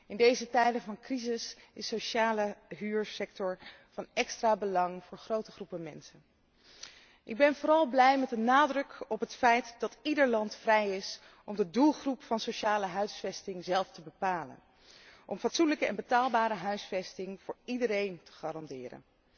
In deze tijden van crisis is de sociale huursector van extra belang voor grote groepen mensen. Ik ben vooral blij met de nadruk op het feit dat ieder land vrij is om de doelgroep van sociale huisvesting zelf te bepalen, om fatsoenlijke en betaalbare huisvesting voor iedereen te garanderen.